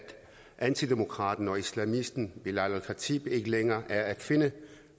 antidemokraten og islamisten belal el khatib ikke længere er at finde